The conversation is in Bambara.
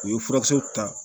U ye furakisɛw ta